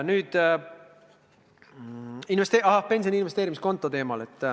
Nüüd pensioni investeerimiskontost.